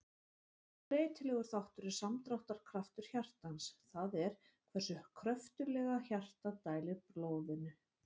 Annar breytilegur þáttur er samdráttarkraftur hjartans, það er hversu kröftuglega hjartað dælir blóðinu.